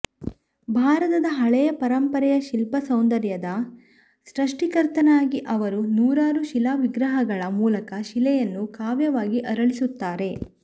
ಭಾರತದ ಹಳೆಯ ಪರಂಪರೆಯ ಶಿಲ್ಪ ಸೌಂದರ್ಯದ ಸೃಷ್ಟಿಕರ್ತನಾಗಿ ಅವರು ನೂರಾರು ಶಿಲಾ ವಿಗ್ರಹಗಳ ಮೂಲಕ ಶಿಲೆಯನ್ನು ಕಾವ್ಯವಾಗಿ ಅರಳಿಸುತ್ತಾರೆ